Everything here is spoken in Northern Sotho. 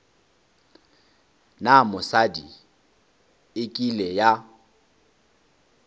na mosadi e kile ya